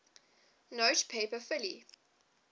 note paper fully